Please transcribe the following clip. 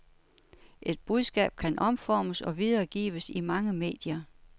Et budskab kan omformes og videregives i mange medier.